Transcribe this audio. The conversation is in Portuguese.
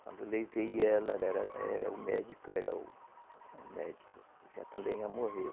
Quando eu levei ela, era, era o médico, era o, o médico, já também já morreu.